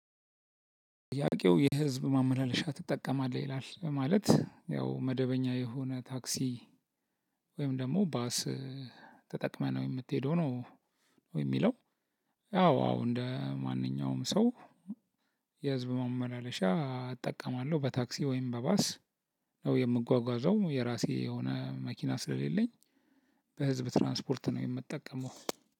ጥያቄው የህዝብ ማመላለሻ ትጠቀማለህ ይላል በማለት ያው መደበኛ የሆነ ታክሲ ወይም ደግሞ ባስ ተጠቅመነው የምትሄደው ነው ወይ? የሚለው ያው አዎ እንደ ማንኛውም ሰው የህዝብ መመላለሻ እጠቀማለሁ በታክሲ ወይም በባስ ነው የምጓጓዘው የራሴ የሆነ መኪና ስለሌለኝ በህዝብ ትራንስፖርት ነው የምጠቀመው